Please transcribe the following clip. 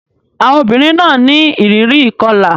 Àwọn obìnrin náà ní ìrírí ìkọlà.